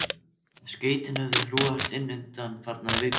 Skeytin höfðu hrúgast inn undanfarnar vikur.